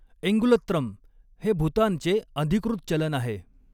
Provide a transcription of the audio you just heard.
एङुलत्रम हे भूतानचे अधिकृत चलन आहे.